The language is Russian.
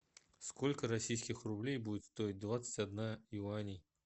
сколько российских рублей будет стоить двадцать одна юаней